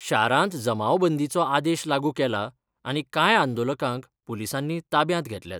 शारांत जमावबंदीचो आदेश लागू केला आनी कांय आंदोलकांक पुलिसांनी ताब्यांत घेतल्यात.